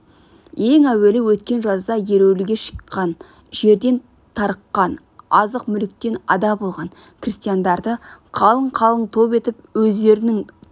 ең әуелі өткен жазда ереуілге шыққан жерден тарыққан азық мүліктен ада болған крестьяндарды қалың-қалың топ етіп өздерінің туған